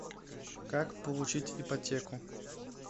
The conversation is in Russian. как получить ипотеку